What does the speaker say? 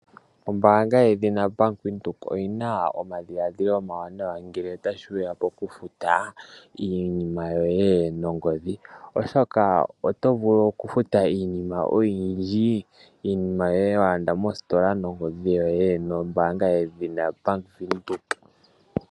Ombaanga yedhina Bank Widhoek oyina omadhiladhilo omawanawa ngele tashiya Pokufuta iinima yoye nongodhi, oshoka otovulu okufuta iinima oyindji iinima yoye walanda mositola nombaanga yedhina Bank Widhoek.